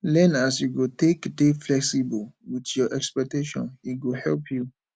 learn as you go take dey flexible with your expectations e go help you